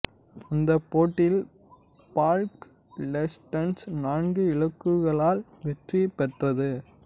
அந்தப் போட்டியில் Palk Legends நான்கு இலக்குகளால் வெற்றி பெற்றது